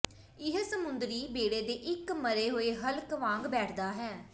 ਇਹ ਸਮੁੰਦਰੀ ਬੇੜੇ ਦੇ ਇਕ ਮਰੇ ਹੋਏ ਹਲਕ ਵਾਂਗ ਬੈਠਦਾ ਹੈ